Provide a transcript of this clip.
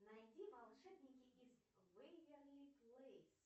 найди волшебники из вэйверли плэйс